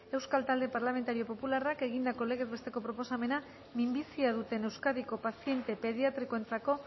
euskal talde parlamentario popularrak egindako legez besteko proposamena minbizia duten euskadiko paziente pediatrikoentzako